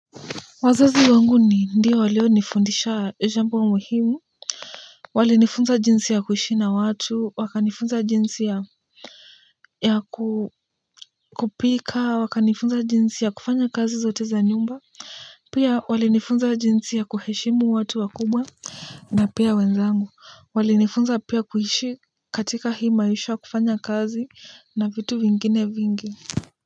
Wazazi wangu ni ndio walionifundisha jambo muhimu walinifunza jinsi ya kuishi na watu wakanifunza jinsi ya ya kupika wakanifunza jinsi ya kufanya kazi zote za nyumba pia walinifunza jinsi ya kuheshimu watu wakubwa na pia wenzangu walinifunza pia kuishi katika hii maisha kufanya kazi na vitu vingine vingi.